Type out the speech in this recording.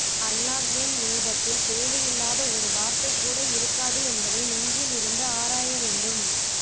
அல்லாஹ்வின் வேதத்தில் தேவையில்லாத ஒரு வார்தை கூட இருக்காது என்பதை நென்ஜிலிருந்து ஆராய வேண்டும்